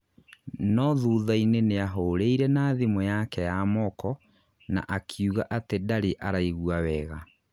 no thutha-inĩ nĩahũrĩire na thimũ yake ya moko na akiũga atĩ ndarĩ araigwa wega.